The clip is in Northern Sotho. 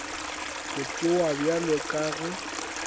go tšewa bjalo ka ge